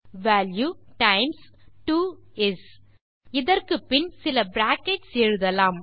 value times 2 is இதற்குப்பின் சில brackets எழுதலாம்